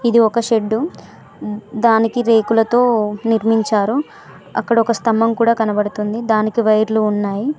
ఇది ఒక షెడ్డు దానికి రేకులతో నిర్మించారు అక్కడ ఒక స్తంభం కూడ కనబడుతుంది దానికి వైర్లు ఉన్నాయి.